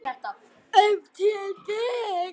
Ef til vill!